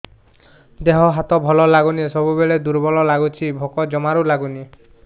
ଦେହ ହାତ ଭଲ ଲାଗୁନି ସବୁବେଳେ ଦୁର୍ବଳ ଲାଗୁଛି ଭୋକ ଜମାରୁ ଲାଗୁନି